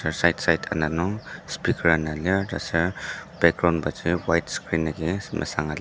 aser side side ana nung speaker ana lir taser background baji white screen agi mesanga lir.